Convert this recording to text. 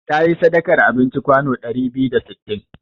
Ta yi sadakar abinci kwano ɗari biyu da sittin.